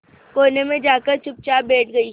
कोने में जाकर चुपचाप बैठ गई